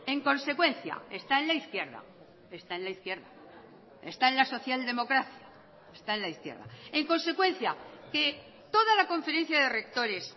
en consecuencia está en la izquierda está en la izquierda está en la social democracia está en la izquierda en consecuencia que toda la conferencia de rectores